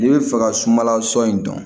N'i bɛ fɛ ka sumanlan sɔ in dɔn